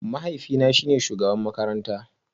Mahaifina shine shugaban makarantara